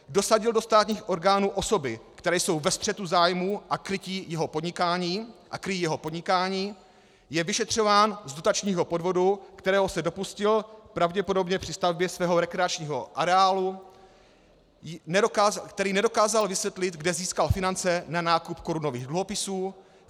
dosadil do státních orgánů osoby, které jsou ve střetu zájmů a kryjí jeho podnikání; je vyšetřován z dotačního podvodu, kterého se dopustil pravděpodobně při stavbě svého rekreačního areálu; který nedokázal vysvětlit, kde získal finance na nákup korunových dluhopisů;